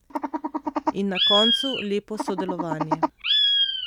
In na koncu lepo sodelovanje.